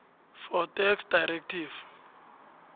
for tax directive